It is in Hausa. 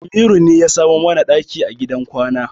Amiru ne ya samo mana ɗaki a gidan kwana.